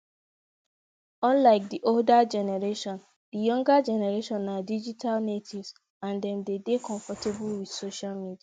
unlike di older generation di younger generation na digital natives and dem de dey comfortable with social media